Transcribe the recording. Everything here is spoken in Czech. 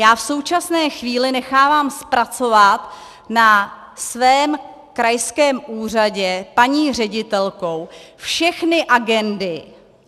Já v současné chvíli nechávám zpracovat na svém krajském úřadě paní ředitelkou všechny agendy.